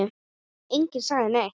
Enginn sagði neitt.